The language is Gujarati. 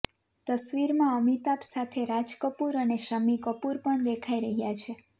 તસવીરમાં અમિતાભ સાથે રાજ કપૂર અને શમ્મી કપૂર પણ દેખાઈ રહ્યા છે